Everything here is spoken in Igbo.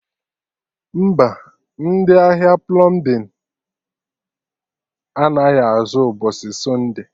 Mba, ndị ahịa plọmbin anaghị azụ mgbọsị Sọnde